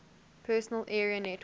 personal area network